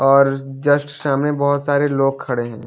और जस्ट सामने बहुत सारे लोग खड़े हैं।